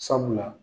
Sabula